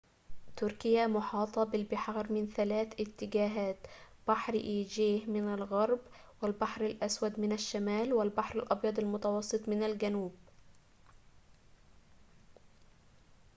تركيا محاطة بالبحار من ثلاث جهات: بحر إيجه من الغرب ، والبحر الأسود من الشمال والبحر الأبيض المتوسط من الجنوب